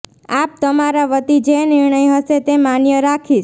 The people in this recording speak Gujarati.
આપ તમારા વતી જે નિર્ણય હશે તે માન્ય રાખીશ